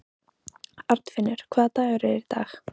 Arnfinnur, hvaða dagur er í dag?